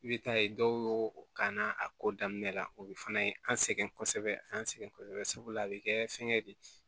I bɛ taa ye dɔw y'o k'a na a ko daminɛ la o bɛ fana an sɛgɛn kosɛbɛ an sɛgɛn kosɛbɛ sabula a bɛ kɛ fɛngɛ de ye